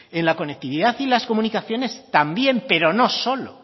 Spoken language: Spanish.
en la conectividad y las comunicaciones también